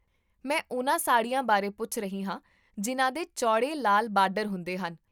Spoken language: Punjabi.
ਮੈਂ ਉਨ੍ਹਾਂ ਸਾੜੀਆਂ ਬਾਰੇ ਪੁੱਛ ਰਹੀ ਹਾਂ ਜਿਨ੍ਹਾਂ ਦੇ ਚੌੜੇ ਲਾਲ ਬਾਰਡਰ ਹੁੰਦੇ ਹਨ